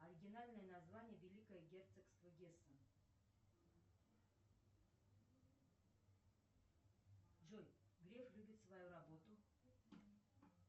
оригинальное название великое герцогство гессен джой греф любит свою работу